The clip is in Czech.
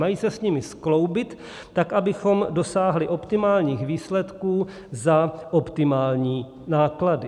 Mají se s nimi skloubit tak, abychom dosáhli optimálních výsledků za optimální náklady.